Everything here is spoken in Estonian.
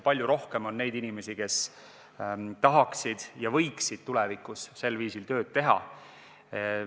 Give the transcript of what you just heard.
Palju rohkem on neid inimesi, kes tahaksid ja võiksid tulevikus sel viisil tööd teha.